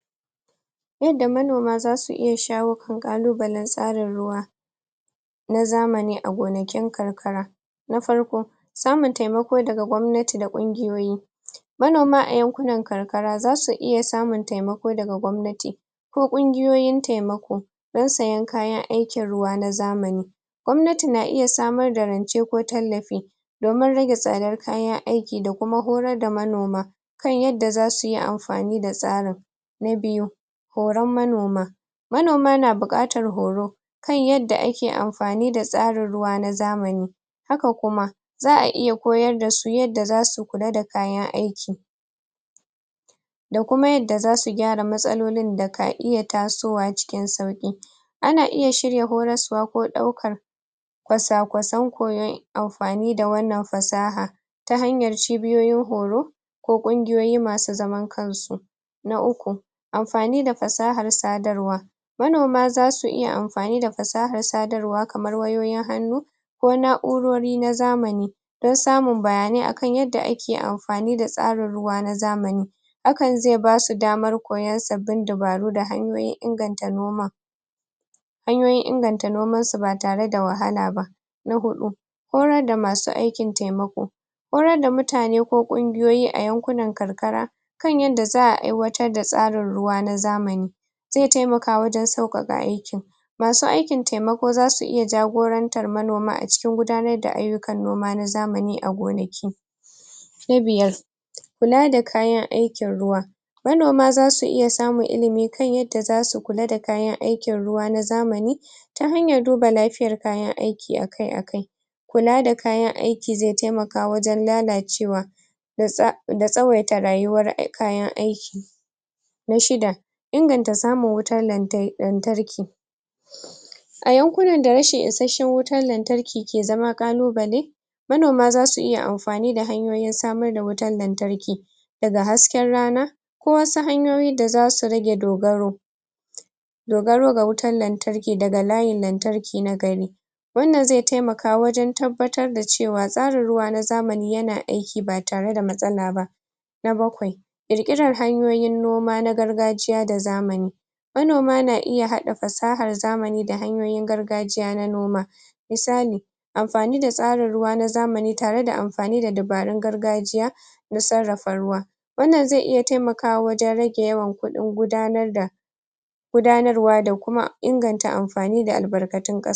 Yadda manoma zasu iya shawo ƙalubalen tsarin ruwa na zamani a gona kin karkara na farko; samun taimako daga gwamnati da ƙungiyoyi manoma a yankunan kar kara zasu iya samun taimako daga gwamnati ko ƙungiyoyin taimako dan sayen kayan aikin ruwa na zamani gwamnati na iya samar da rance ko tallafi domin rage tsadar kayan aiki da kuma horar da manoma kan yanda zasu yi am fani da tsarin na biyu; horan manoma manoma na buƙatar horo kan yanda ake amfani da tsarin ruwa na zamani haka kuma za'a iya koyar dasu yadda zasu kula da kayan aiki da kuma yadda zasu gyara matsalolin da ka iya taasowa cikin sauƙi ana iya shirya horaswa ko ɗaukar kwasa-kwasan koyon amfani da wannan fasahan ta hanyar cibiyoyin horo ko ƙungiyoyi masu zaman kansu na uku; amfani da fasahar sadarwa manoma zasu iya am.. fani da fasahar sadarwa kamar wayoyin hannu ko na'urori na zamani don samun bayanai akan yanda ake am.. fani da tsarin ruwa na zamani hakan zai basu damar koyon sabbin dabaru da hanyoyin inganta noman hanyoyin inganta noman su ba tare da wahala ba na huɗu; horar da masu aikin taimako horar da mutane ko ƙungiyoyi a yankunan karkara kan yanda za'a aiwatar da tsarin ruwa na zamani zai taimaka wajen sauƙaƙa aikin masu aikin taimako ko zasu iya jagorantar manoman acikin gudanar da ayyu kan noma na zamani a gonaki na biyar; kula da kayan aikin ruwa manoma zasu iya samun ilimi kan yadda zasu kula da kayan aikin ruwa na zamani ta hanyar duba lafiyar kayan aiki akai-akai kula da kayan ai ki zai taimaka wajen lalacewa da tsa.. da tsawaita rayuwar kayan aiki na shida; inganta samun wutan lantar lantarki a yankunan da rashin isashshen wutan lantarki ke zama ƙalubale manoma zasu iya am.. fani da hanyoyin samar da wutan lantarki daga hasken rana ko wasu hanyoyi da zasu rage dogaro dogaro ga wutan lantar ki daga layin lantarki na gari wannan zai taimaka wajen tab.. batar da cewa tsarin ruwa na zamani yana aiki ba tare da matsala na bakwai; ƙirƙiran hanyoyin noma na gargajiya da zamani manoma na iya haɗa fasahar zamani da hanyoyin gargajiya na noma misali amfani da tsarin ruwa na zamani tare da am.. fani da dabarun gargajiya na sarrafa ruwa wannan zai iya taimakawa wajen rage yawan kuɗin gudanar da gudanarwa da kuma inganta amfani da albarkatun ƙasa